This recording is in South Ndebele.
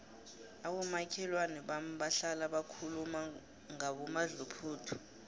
abomakhelwana bami bahlala bakhuluma ngomadluphuthu